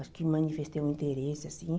Acho que manifestei um interesse, assim.